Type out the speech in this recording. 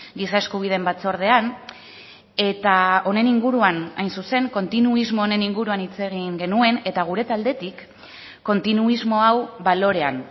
giza eskubideen batzordean eta honen inguruan hain zuzen kontinuismo honen inguruan hitz egin genuen eta gure taldetik kontinuismo hau balorean